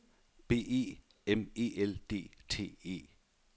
B E M E L D T E